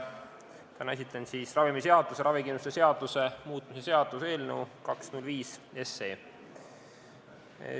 Täna esitan ravimiseaduse ja ravikindlustuse seaduse muutmise seaduse eelnõu 205.